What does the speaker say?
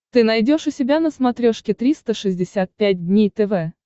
ты найдешь у себя на смотрешке триста шестьдесят пять дней тв